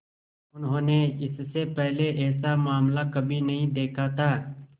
उन्होंने इससे पहले ऐसा मामला कभी नहीं देखा था